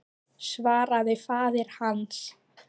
svaraði faðir hans.